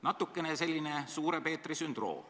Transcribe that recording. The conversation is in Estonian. Natukene selline suure Peetri sündroom.